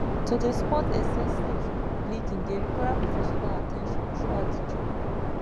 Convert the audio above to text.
to dey spot excessive bleeding dey require professional at ten tion throughout de journey